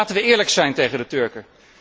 En laten wij eerlijk zijn tegen de Turken.